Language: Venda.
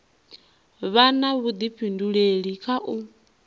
vha na vhuḓifhinduleli kha u